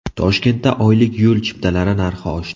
Toshkentda oylik yo‘l chiptalari narxi oshdi .